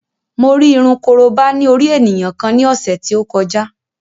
Mo rí irun korobá ní orí ènìyàn kan ní ọ̀sẹ̀ tí ó kọjá